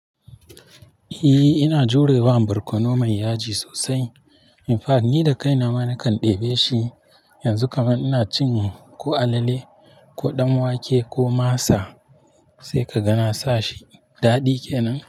Eh, ina jurewa barkono mai yaji sosai.--. Ni da kaina ma nakan ɗebe shi, yanzu kamar ina cin ko alale ko ɗanwake ko masa sai ka ga na sa shi. Daɗi ke nan.